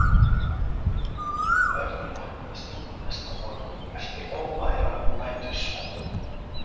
Örn vaknaði snemma næsta morgun eftir óværan nætursvefn.